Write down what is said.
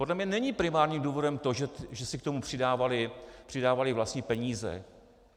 Podle mě není primárním důvodem to, že si k tomu přidávali vlastní peníze.